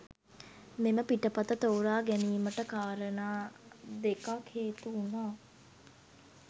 මෙම පිටපත තෝරා ගැනීමට කාරණා දෙකක් හේතු වුණා.